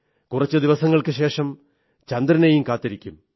കുറച്ചു ദിവസത്തിനുശഷം ചന്ദ്രനെയും കാത്തിരിക്കും